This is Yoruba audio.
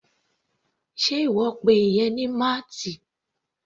Sé ìwọ pe ìyẹn ní mallet?